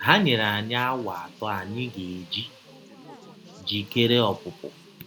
Ha nyere anyị awa atọ anyị ga - eji jikere ọpụpụ.